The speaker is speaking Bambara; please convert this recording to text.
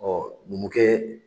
Ɔ Numukɛ